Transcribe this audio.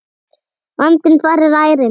Vandinn þar er ærinn.